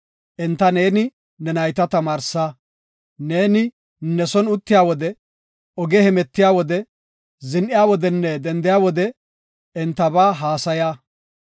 Enta neeni ne nayta tamaarsa; neeni ne son uttiya wode, oge hemetiya wode, zin7iya wodenne dendiya wode entaba haasaya.